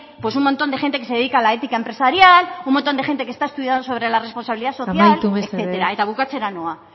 un montón de gente que se dedica a la ética empresarial un montón de gente que está estudiando sobre la responsabilidad social amaitu mesedez bukatzera noa